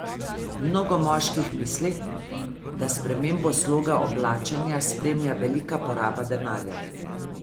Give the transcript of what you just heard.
Mnogo moških misli, da spremembo sloga oblačenja spremlja velika poraba denarja.